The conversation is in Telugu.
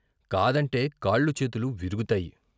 కాదంటే కాళ్ళూ చేతులూ విరుగుతాయి.